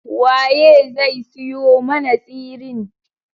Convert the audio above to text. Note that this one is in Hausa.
Waye zai siyo mana tsirin?